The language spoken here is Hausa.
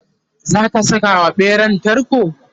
zaka Saka wa ɓeran tarko?